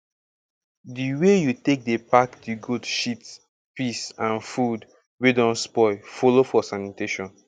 di way you take dey pack the goat shit piss and food wey don spoil follow for sanitation